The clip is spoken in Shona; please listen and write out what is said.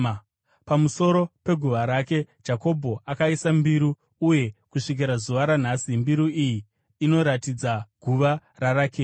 Pamusoro peguva rake Jakobho akaisa mbiru, uye kusvikira zuva ranhasi mbiru iyi inoratidza guva raRakeri.